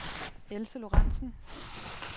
Else Lorentsen